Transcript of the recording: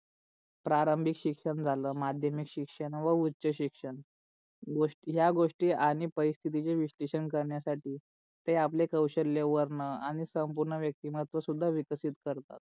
प्रारंभीत शिक्षण झाल, माध्यमिक शिक्षण व उच्च शिक्षण. या गोष्टी आणि परिस्थितीचे विश्लेषण करण्यासाठी ते आपले कौशल्य वर्णन आणि संपूर्ण व्यक्तिमहत्व सुद्धा विक्षित करतात.